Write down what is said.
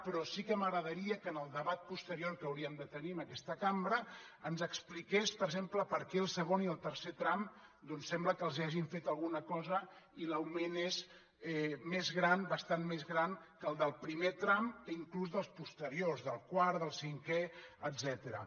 però sí que m’agradaria que en el debat posterior que hauríem de tenir en aquesta cambra ens expliqués per exemple per què al segon i el tercer tram sembla que els hagin fet alguna cosa i l’augment és més gran bastant més gran que el del primer tram inclús que el dels posteriors del quart del cinquè etcètera